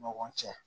Ɲɔgɔn cɛ